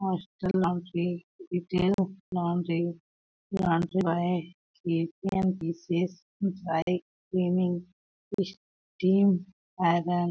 hostel laundry retail laundry laundry cleaning team iron --